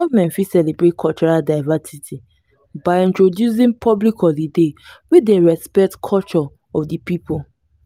government fit celebrate cultural diversity by introducing public holiday wey dey respect culture of di pipo